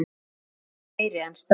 er engu meiri en strá.